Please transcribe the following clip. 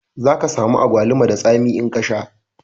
Zaka samu agwaluma da tsami in ka sha